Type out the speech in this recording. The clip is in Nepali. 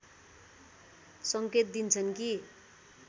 संकेत दिन्छन् कि